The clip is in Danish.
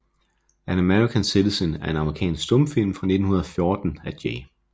An American Citizen er en amerikansk stumfilm fra 1914 af J